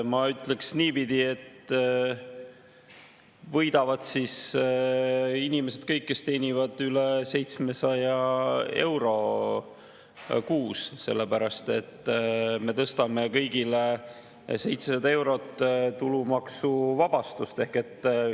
Ma ütleks niipidi, et võidavad kõik inimesed, kes teenivad üle 700 euro kuus, sellepärast et me tõstame kõigi tulumaksuvabastuse 700 eurole.